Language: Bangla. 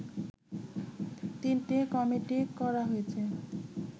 তিনটি কমিটি করা হয়েছে